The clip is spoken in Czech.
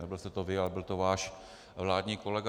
Nebyl jste to vy, ale byl to váš vládní kolega.